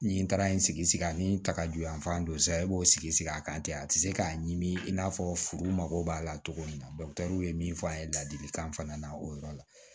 Ni n taara n sigi sigi a ni takaju yan fan don sisan e b'o sigi sigi a kan ten a ti se k'a ɲimi i n'a fɔ furu mago b'a la cogo min na min fɔ an ye ladilikan fana na o yɔrɔ la